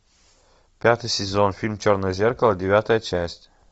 пятый сезон фильм черное зеркало девятая часть